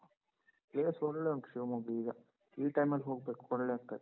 Place ಒಳ್ಳೆ ಉಂಟು ಶಿವಮೊಗ್ಗ ಈಗ. ಈ time ಅಲ್ ಹೋಗ್ಬೇಕು, ಒಳ್ಳೆ ಆಗ್ತದೆ.